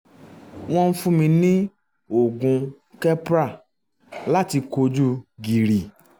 wọ́n ń fún un ní oògùn keppra láti kojú gìrì